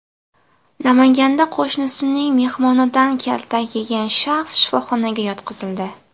Namanganda qo‘shnisining mehmonidan kaltak yegan shaxs shifoxonaga yotqizildi.